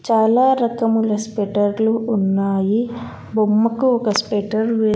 చాలా రకముల స్వెటర్లు ఉన్నాయి బొమ్మకు ఒక స్వెటర్ వే--